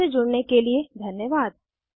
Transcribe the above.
हमसे जुड़ने के लिए धन्यवाद